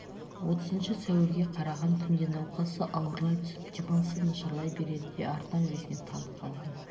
отызыншы сәуірге қараған түнде науқасы ауырлай түсіп демалысы нашарлай береді де артынан есінен танып қалған